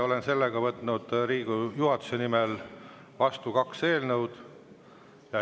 Olen Riigikogu juhatuse nimel võtnud vastu kaks eelnõu.